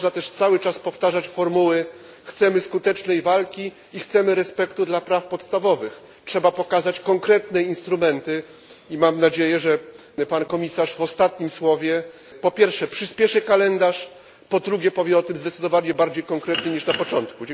Nie można też cały czas powtarzać formuły chcemy skutecznej walki i chcemy respektu dla praw podstawowych. Trzeba pokazać konkretne instrumenty i mam nadzieję, że pan komisarz w ostatnim słowie po pierwsze przyśpieszy kalendarz, po drugie powie o tym zdecydowanie bardziej konkretnie niż na początku.